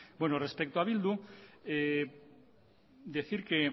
respecto a bildu decir que